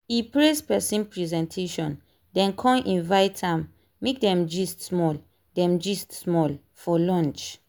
e praise person presentation then con invite am make dem gist small dem gist small for lunch.